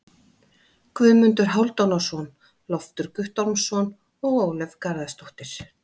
Guðmundur Hálfdanarson, Loftur Guttormsson og Ólöf Garðarsdóttir.